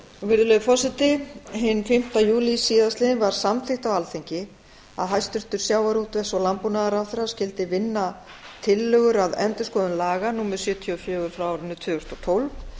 virðulegi forseti hinn fimmti júlí síðast liðinn var samþykkt á alþingi að hæstvirtur sjávarútvegs og landbúnaðarráðherra skyldi vinna tillögur að endurskoðun laga númer sjötíu og fjögur tvö þúsund og tólf